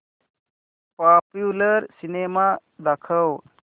popular cinema दाखव